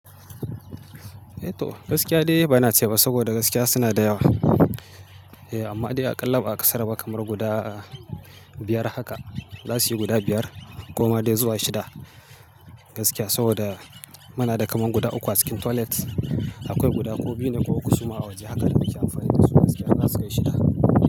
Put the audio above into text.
Eh to, gaskiya dai bana ceba saboda gaskiya sunada yawa. Eh amma dai a ƙalla ba'a kasaraba kamar guda biyar haka, zasuyi guda biyar, koma dai zuwa shida gaskiya saboda muna da kamar guda uku a cikin toilet. Akwai guda ko biyu ne ko uku suma a waje haka da muke amfani dasu gaskiya in zasu kai shida.